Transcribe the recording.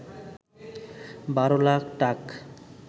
১২ লাখ টাক